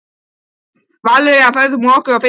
Valería, ferð þú með okkur á fimmtudaginn?